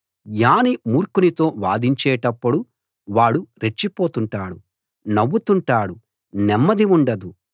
జ్ఞాని మూర్ఖనితో వాదించేటప్పుడు వాడు రెచ్చిపోతుంటాడు నవ్వుతుంటాడు నెమ్మది ఉండదు